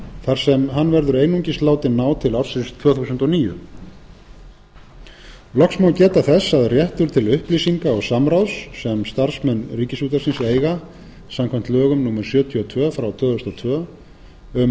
þar sem hann verður einungis látinn ná til ársins tvö þúsund og níu loks má geta þess að réttur til upplýsinga og samráðs sem starfsmenn ríkisútvarpsins eiga samkvæmt lögum númer sjötíu og tvö tvö þúsund og tvö um